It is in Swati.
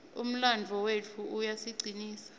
umlandvo wetfu uyasicinisa